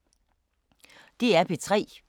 DR P3